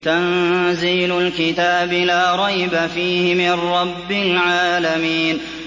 تَنزِيلُ الْكِتَابِ لَا رَيْبَ فِيهِ مِن رَّبِّ الْعَالَمِينَ